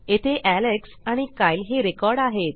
येथे एलेक्स आणि कायल ही रेकॉर्ड आहेत